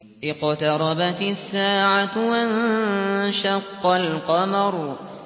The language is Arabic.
اقْتَرَبَتِ السَّاعَةُ وَانشَقَّ الْقَمَرُ